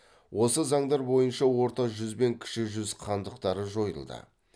осы заңдар бойынша орта жүз бен кіші жүз хандықтары жойылды